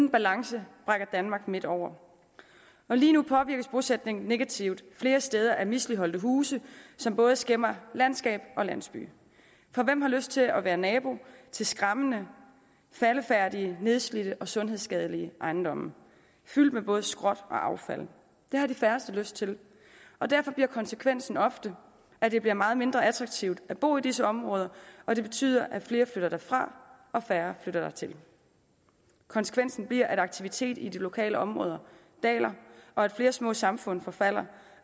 en balance brækker danmark midt over lige nu påvirkes bosætningen negativt flere steder af misligholdte huse som både skæmmer landskab og landsby for hvem har lyst til at være nabo til skræmmende faldefærdige nedslidte og sundhedsskadelige ejendomme fyldt med både skrot og affald det har de færreste lyst til og derfor bliver konsekvensen ofte at det bliver meget mindre attraktivt at bo i disse områder og det betyder at flere flytter derfra og færre flytter dertil konsekvensen bliver at aktiviteten i de lokale områder daler og at flere små samfund forfalder